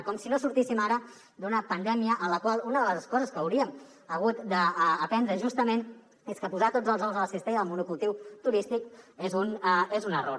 com si no sortíssim ara d’una pandèmia en la qual una de les coses que hauríem hagut d’aprendre justament és que posar tots els ous a la cistella del monocultiu turístic és un error